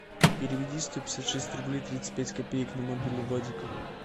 переведи сто пятьдесят шесть рублей тридцать пять копеек на мобилу вадика